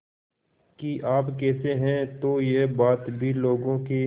कि आप कैसे हैं तो यह बात भी लोगों के